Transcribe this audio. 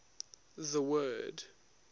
the word